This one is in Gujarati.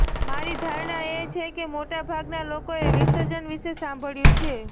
મારી ધારણા એ છે કે મોટાભાગના લોકોએ વિસર્જન વિશે સાંભળ્યું છે